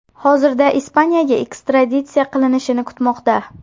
Hozirda Ispaniyaga ekstraditsiya qilinishini kutmoqda.